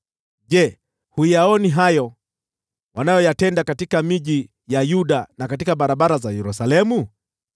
Je, huyaoni hayo wanayoyatenda katika miji ya Yuda na katika barabara za Yerusalemu?